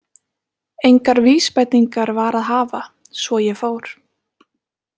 Engar vísbendingar var að hafa, svo ég fór.